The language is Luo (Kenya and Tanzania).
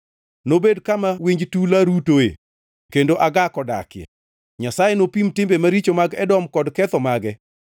Nobed kama winj tula rutoe kendo agak odakie. Nyasaye nopim timbe maricho mag Edom kod ketho mage.